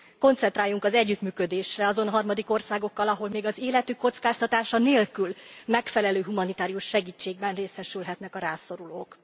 Koncentráljunk az együttműködésre azon harmadik országokkal, ahol még az életük kockáztatása nélkül megfelelő humanitárius segítségben részesülhetnek a rászorulók.